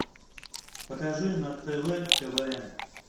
покажи на тв квн